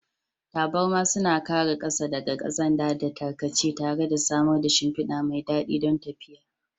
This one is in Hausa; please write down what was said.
Taburma suna kare ƙasa daga ƙazanta da tarkace tare da samar da shimfida mai daɗi don tafiya.